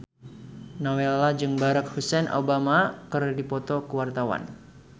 Nowela jeung Barack Hussein Obama keur dipoto ku wartawan